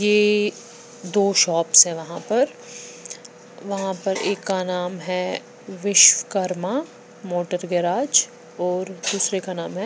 ये दो शॉप्स है वहां पर वहां पर एक का नाम है विश्वकर्मा मोटर गैराज और दूसरे का नाम है।